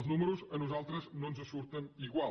els números a nosaltres no ens surten igual